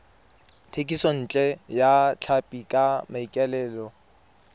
thekisontle ya tlhapi ka maikaelelo